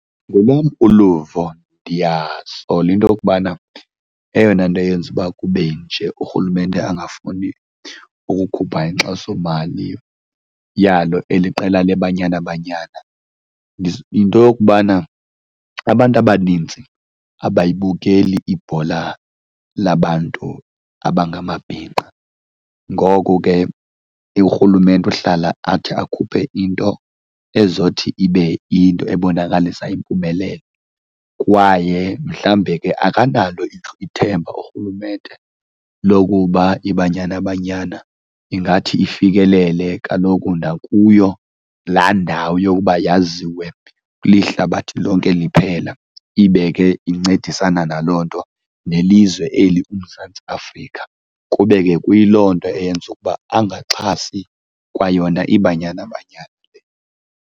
Ngolwam uluvo ndiyasola into yokubana eyona nto eyenza uba kube nje, urhulumente angafuni ukukhupha inkxasomali yalo eli qela leBanyana Banyana is, yinto yokubana abantu abanintsi abayibukeli ibhola labantu abangamabhinqa. Ngoko ke, urhulumente uhlala athi akhuphe into ezothi ibe into ebonakalisa impumelelo kwaye mhlawumbe ke akanalo ithemba urhulumente lokuba iBanyana Banyana ingathi ifikelele kaloku nakuyo laa ndawo yokuba yaziwe lihlabathi lonke liphela. Ibe ke incedisana naloo nto nelizwe eli, uMzantsi Afrika, kube ke kuyiloo nto eyenza ukuba angaxhasi kwayona iBanyana Banyana.